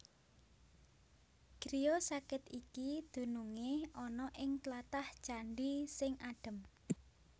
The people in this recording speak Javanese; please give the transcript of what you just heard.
Griya sakit iki dunungé ana ing tlatah Candhi sing adhem